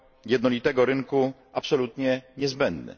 jednolitego rynku absolutnie niezbędny.